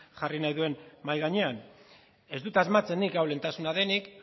jarri nahi duen mahai gainean ez dut asmatzen nik hau lehentasuna denik